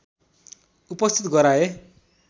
उपस्थित गराए